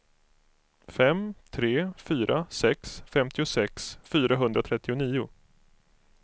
fem tre fyra sex femtiosex fyrahundratrettionio